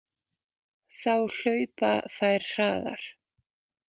Þá hlaupa þær hraðar.